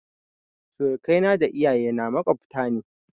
Surakai na da iyaye na maƙwabta ne